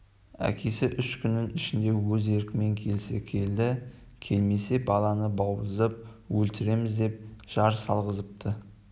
әкесі үш күннің ішінде өз еркімен келсе келді келмесе баланы бауыздап өлтіреміз деп жар салғызыпты